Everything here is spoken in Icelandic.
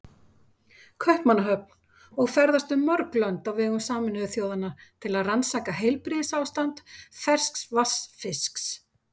Kaupmannahöfn og ferðast um mörg lönd á vegum Sameinuðu þjóðanna til að rannsaka heilbrigðisástand ferskvatnsfisks.